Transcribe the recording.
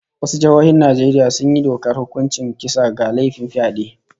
Wasu jihohin Najeriya sun yi dokar hukuncin kisa ga laifin fyade